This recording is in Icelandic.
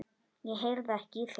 Ég heyrði ekki í þér.